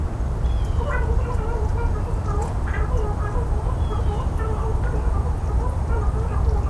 እዚ አብ እግሪ ተክሊ ኮይኖም ሊስትሮ ዝሰርሑን ዝተፈላለዩ ሰዓታትን መነፀራትን ዝሰርሑን ዘርኢ ኮይኑ ካብ ዝረአዩ ምስልታት ሞተር ሳይክል፣ ሳይክል ፣ ሶል ናይ ጫማን ካልኦትን ይርከቡዎም፤፤